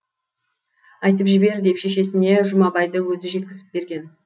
айтып жібер деп шешесіне жұмабайды өзі жеткізіп берген